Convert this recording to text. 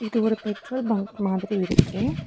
இது ஒரு petrol bunk மாதிரி இருக்கு.